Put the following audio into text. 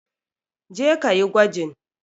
Je ka yi gwajin!